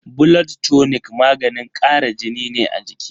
Blood tonic maganin kara jini ne a jiki.